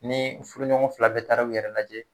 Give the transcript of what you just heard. Ni furuɲɔgɔn fila bɛ taara u yɛrɛ lajɛ